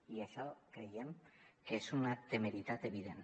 i això creiem que és una temeritat evident